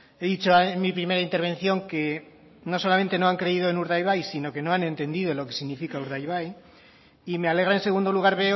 he dicho en mi primera intervención que no solamente no han creído en urdaibai sino que no han entendido lo que significa urdaibai y me alegra en segundo lugar